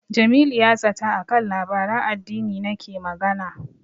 Jamilu ya zata a kan labaran addini nake magana.